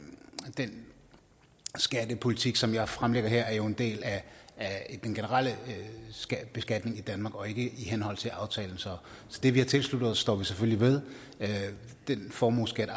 den skattepolitik som jeg fremlægger her jo er en del af den generelle beskatning i danmark og ikke i henhold til aftalen så det vi har tilsluttet os står vi selvfølgelig ved den formueskat